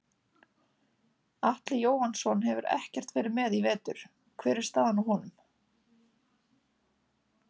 Atli Jóhannsson hefur ekkert verið með í vetur hver er staðan á honum?